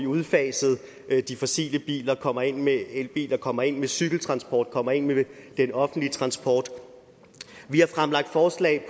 udfaset de fossile biler og kommer ind med elbiler kommer ind med cykeltransport kommer ind med den offentlige transport vi har fremlagt forslag